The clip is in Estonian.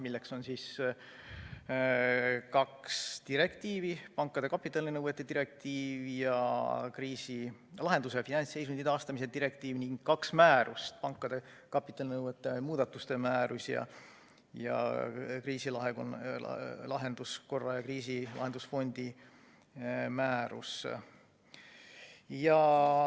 Nendeks on kaks direktiivi, pankade kapitalinõuete direktiiv ja finantsseisundi taastamise ja kriisilahenduse direktiiv, ning kaks määrust, pankade kapitalinõuete määrus, mida on muudetud, ja kriisilahenduskorra ja kriisilahendusfondi määrus.